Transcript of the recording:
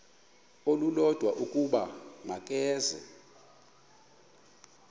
olulodwa ukuba makeze